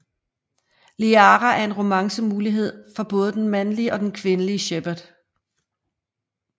Liara er en romance mulighed for både den mandlige og den kvindelige Shepard